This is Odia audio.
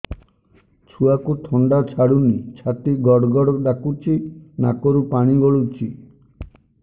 ଛୁଆକୁ ଥଣ୍ଡା ଛାଡୁନି ଛାତି ଗଡ୍ ଗଡ୍ ଡାକୁଚି ନାକରୁ ପାଣି ଗଳୁଚି